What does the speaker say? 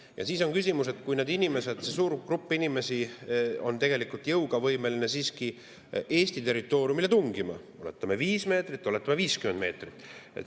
Ja siis on küsimus,, kui suur grupp inimesi on tegelikult jõuga võimeline siiski Eesti territooriumile tungima – oletame, et viis meetrit või 50 meetrit.